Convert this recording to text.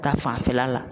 Ta fanfɛla la